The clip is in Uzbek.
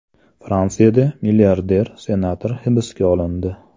Fransiyada milliarder senator hibsga olindi.